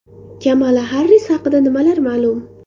Kamala Harris haqida nimalar ma’lum?